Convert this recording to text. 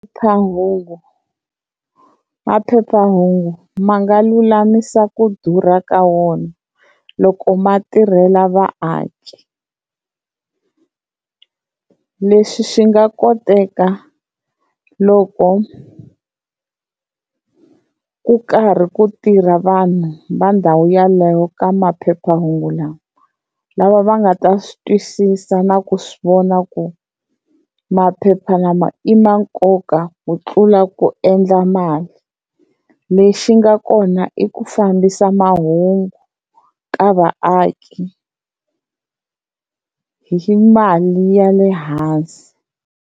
maphephahungu ma nga lulamisa ku durha ka wona loko ma tirhela vaaki, leswi swi nga koteka loko ku karhi ku tirha vanhu va ndhawu yaleyo ka maphephahungu lama, lava va nga ta swi twisisa na ku swi vona ku maphepha lama i ma nkoka ku tlula ku endla mali lexi nga kona i ku fambisa mahungu ka vaaki hi mali ya le hansi.